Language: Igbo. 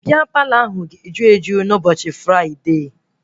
Bịa Palọ ahụ ga-eju eju n'ụbọchị fride